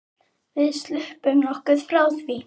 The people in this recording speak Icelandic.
Við sluppum nokkuð frá því.